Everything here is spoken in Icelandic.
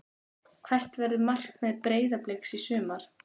Hvert verður markmið Breiðabliks í sumar?